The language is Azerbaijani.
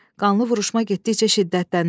Qanlı vuruşma getdikcə şiddətlənir.